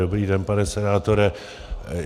Dobrý den, pane senátore.